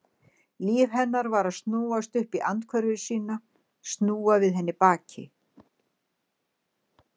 Líf hennar var að snúast upp í andhverfu sína, snúa við henni baki.